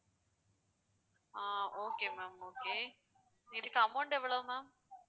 ஆஹ் okay ma'amokay இதுக்கு amount எவ்வளோ ma'am